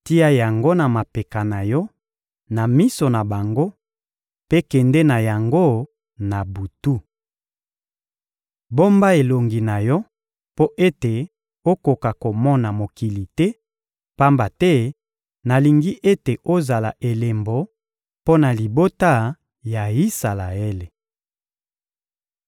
Tia yango na mapeka na yo na miso na bango, mpe kende na yango na butu. Bomba elongi na yo mpo ete okoka komona mokili te, pamba te nalingi ete ozala elembo mpo na libota ya Isalaele.»